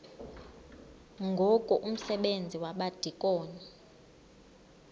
ngoku umsebenzi wabadikoni